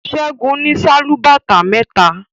Segun ní Sálúbàtà méta.